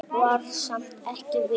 Var samt ekki viss.